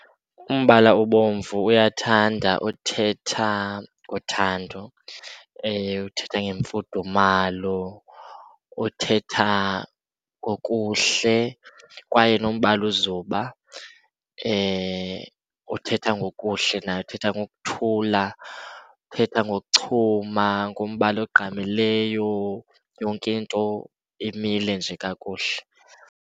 Umbala obomvu uyathanda uthetha ngothando uthetha ngemfudumalo, uthetha ngokuhle. Kwaye nombala ozuba uthetha ngokuhle, nawo uthetha ngokuthula, uthetha ngokuchuma, ngumbala ogqamileyo, yonke into emile nje kakuhle.